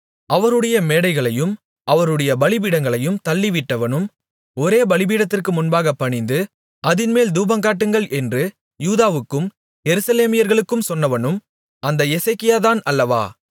அவருடைய மேடைகளையும் அவருடைய பலிபீடங்களையும் தள்ளிவிட்டவனும் ஒரே பலிபீடத்திற்கு முன்பாகப் பணிந்து அதின்மேல் தூபங்காட்டுங்கள் என்று யூதாவுக்கும் எருசலேமியர்களுக்கும் சொன்னவனும் அந்த எசேக்கியாதான் அல்லவா